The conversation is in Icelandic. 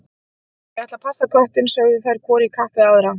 Ég ætla að passa köttinn, sögðu þær hvor í kapp við aðra.